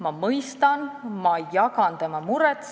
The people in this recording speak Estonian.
Ma mõistan teda, ma jagan tema muret.